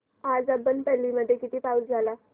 आज अब्बनपल्ली मध्ये किती पाऊस झाला